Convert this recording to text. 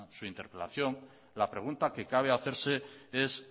su interpelación la pregunta que cabe hacerse es